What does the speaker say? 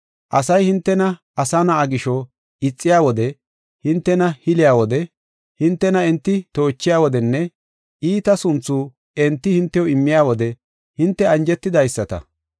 Asay hintena Asa Na7aa gisho, ixiya wode, hintena hiliya wode, hintena enti toochiya wodenne, iita sunthu enti hintew immiya wode hinte anjetidaysata.